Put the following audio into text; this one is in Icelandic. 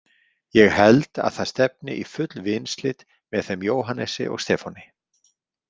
Ég held að það stefni í full vinslit með þeim Jóhannesi og Stefáni.